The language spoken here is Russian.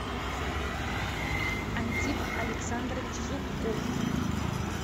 антип александрович зубков